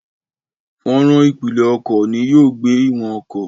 Fọ́nrán ìpìlẹ̀ ọkọ̀ ni yóò gbé ìwọ̀n ọkọ̀.